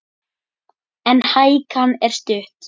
En hækan er stutt.